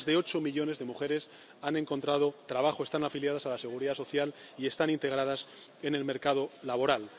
Más de ocho millones de mujeres han encontrado trabajo, están afiliadas a la Seguridad Social y están integradas en el mercado laboral.